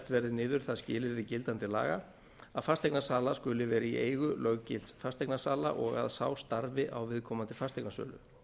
verði niður það skilyrði gildandi laga að fasteignasala skuli vera í eigu löggilts fasteignasala og að sá starfi á viðkomandi fasteignasölu